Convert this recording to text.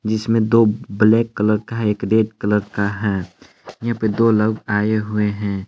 जिसमें दो ब ब्लैक कलर का है एक रेड कलर का है। यहां पे दो लोग आए हुए हैं।